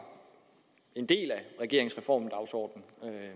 en del af regeringens reformdagsorden